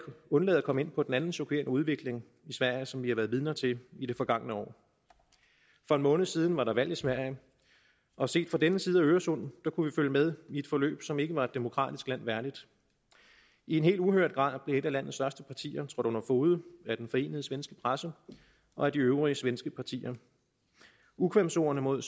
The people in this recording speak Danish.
undlade at komme ind på den anden chokerende udvikling i sverige som vi har været vidner til i det forgangne år for en måned siden var der valg i sverige og set fra denne side af øresund kunne vi følge med i et forløb som ikke var et demokratisk land værdigt i en helt uhørt grad blev et af landets største partier trådt under fode af den forenede svenske presse og af de øvrige svenske partier ukvemsordene mod